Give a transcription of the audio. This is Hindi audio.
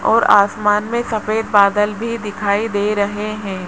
और आसमान में सफेद बादल भी दिखाई दे रहे हैं।